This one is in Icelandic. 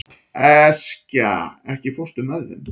Eskja, ekki fórstu með þeim?